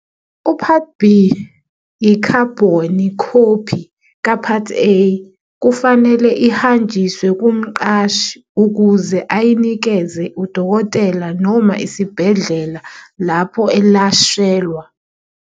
U-Part B -i-khabhoni khophi ka-part A - kufanele ihanjiswe kumqashi ukuze ayinikeze udokotela noma isibhedlela lapho elashelwa.